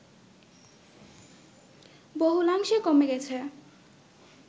বহুলাংশে কমে গেছে